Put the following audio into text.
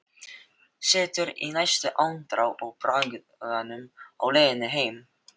Situr í næstu andrá í bragganum á leiðinni heim.